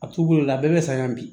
A t'u bolo a bɛɛ bɛ saɲɔ bi